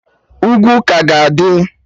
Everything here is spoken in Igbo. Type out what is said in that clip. Ugwu ka ga-adị